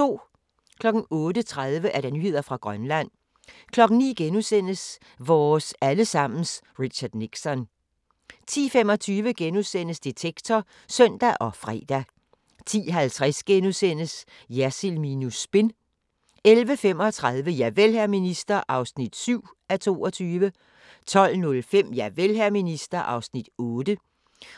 08:30: Nyheder fra Grønland 09:00: Vores alle sammens Richard Nixon * 10:25: Detektor *(søn og fre) 10:50: Jersild minus spin * 11:35: Javel, hr. minister (7:22) 12:05: Javel, hr. minister (8:22)